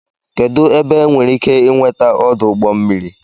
kedụ ebe enwere ike ị nweta ọdụ ụgbọ mmiri